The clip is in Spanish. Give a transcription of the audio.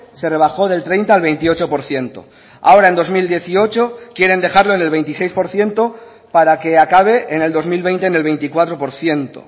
se rebajó del treinta al veintiocho por ciento ahora en dos mil dieciocho quieren dejarlo en el veintiséis por ciento para que acabe en el dos mil veinte en el veinticuatro por ciento